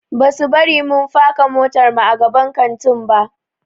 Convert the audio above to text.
Basu bari mun faka motarmu a gaban kantin ba.